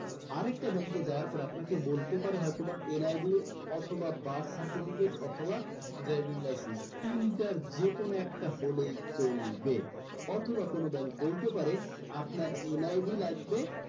আরেকটা bank এ যাওয়ার পরে আপনাকে বলতে পারে হয়তোবা NID অথবা birth certificate অথবা driving license তিনটার যেকোনো একটা হলেই চলবে অথবা কোনো bank বলতে পারে আপনার NID লাগবে